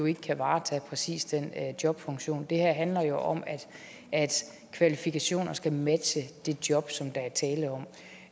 ikke kan varetage præcis den jobfunktion det her handler jo om at kvalifikationer skal matche det job som der